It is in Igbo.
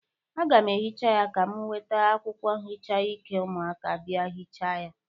Aga m ehicha ya, ka m weta akwụkwọ nhicha ike ụmụaka bịa hịcha ya.